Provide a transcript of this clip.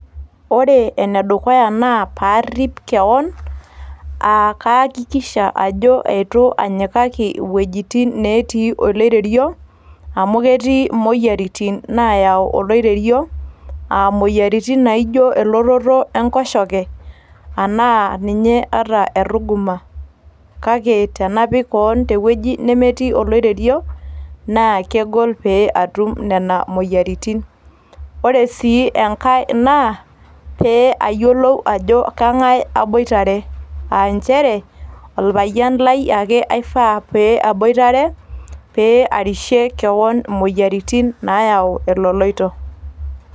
Ore ene dukuya naa parrip kewan, kayakikisha ajo eitu anyikaki ewuejitin natii oloirerio, amu ketii emoyiaritin naayau oloirerio aa emoyiaritin naijio elototo enkoshoke arashu ninye erruguma. Kake tenapik kewan ewueji nemetii olairerio naa kegol paatum Nena moyiaritin. Ore sii engae naa paayiolou ajo engae aboitare aa nchere oripayian Lai ake eifaa naboitare, pee aarishie kewan emoyiaritin naayau eloloito.